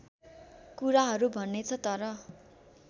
कुराहरू भनेछ तर